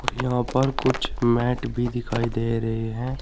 यहां पर कुछ मैट भी दिखाई दे रहे हैं।